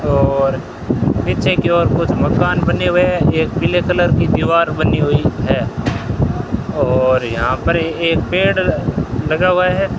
और पीछे की ओर कुछ मकान बने हुए हैं एक पीले कलर की दीवार बनी हुई है और यहां पर एक पेड़ लगा हुआ है।